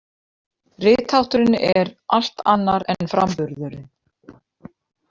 Rithátturinn er allt annar en framburðurinn.